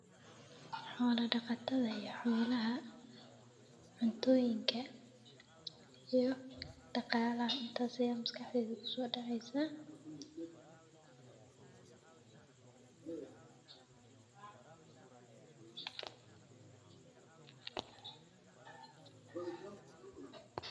xoola daqatadha iyo xoolaha cuntooyinka iyo daqaalaha intaas ayaa maskaxdeyda kusoodaceysa.